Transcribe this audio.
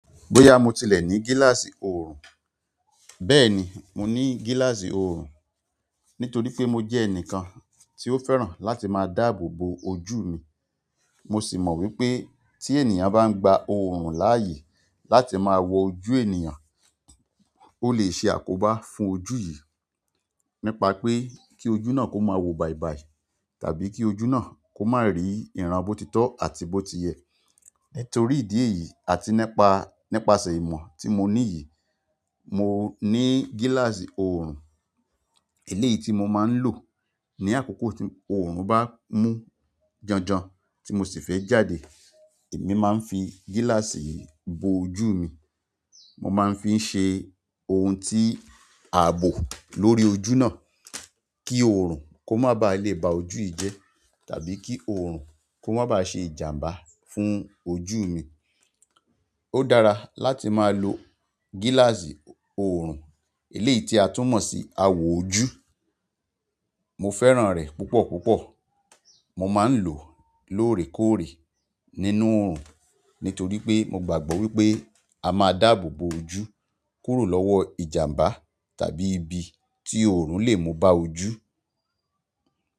Bóyá mo tilẹ̀ ní gíláàsì oòrùn, bẹ́ẹ̀ni, mo ní gíláàsì oòrùn. Nítorí pé mo jẹ́ ẹnìkan tí ó fẹ́ràn láti máa dáàbò bo ojú mi. Mo sì mọ̀ wípé tí ènìyàn bá ń gba oòrùn láààyè láti máa wọ ojú ènìyàn, ó lè ṣe àkóbá fún ojú yìí. Nípa pé kí ojú náà kó máa wo bàìbàì tàbí kí ojú náà kó má rí ìran bótitọ́ àti bó tiyẹ̀. Nítorí ìdí èyí àti nípa, nípasẹ̀ ìmọ̀ tí mo ní yìí, mo ní gíláàsì oòrùn eléyìí tí mo máa ń lò ní àkókò tí oòrùn bá mú janjan tí mo sì fẹ́ jáde. Èmi máa ń fi gíláàsì yìí bo ojú mi, mo máa ń fi ń ṣe ohun tí a bò lórí ojú náà kí oòrùn kó má ba à lè ba ojú yìí jẹ́ tàbí kí oòrùn kó má ba à ṣe ìjàmbá fún ojú mi. Ó dára láti máa lo gíláàsì oòrùn eléyìí tí a tún mọ̀ sí awò ojú. Mo fẹ́ràn rẹ̀ púpọ̀ púpọ̀. Mo máa ń lò ó lóòrèkóòrè nínú oòrùn, nítorí pé mo gbàgbọ́ wípé a máa dáàbò bo ojú kúrò lọ́wọ́ ìjàmbá tàbí ibi tí oòrùn lè mú bá ojú.